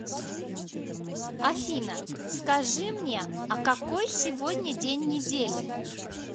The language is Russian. афина скажи мне а какой сегодня день недели